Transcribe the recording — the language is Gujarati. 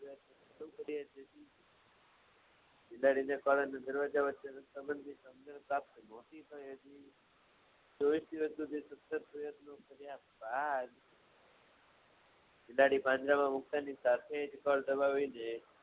ચોવીશ દિવસ સુધી બિલાડી પાંજરામાં મુક્તાની સાથે કળ દબાવીને